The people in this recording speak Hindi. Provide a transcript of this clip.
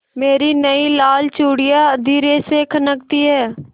मेरी नयी लाल चूड़ियाँ धीरे से खनकती हैं